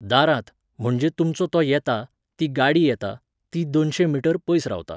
दारांत, म्हणजे तुमचो तो येता, ती गाडी येता, ती दोनशे मीटर पयस रावता.